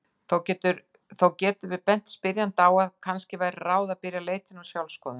Þó getum við bent spyrjanda á að kannski væri ráð að byrja leitina með sjálfsskoðun.